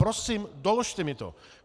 Prosím doložte mi to!